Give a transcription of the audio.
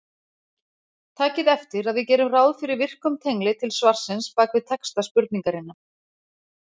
Takið eftir að við gerum ráð fyrir virkum tengli til svarsins bak við texta spurningarinnar.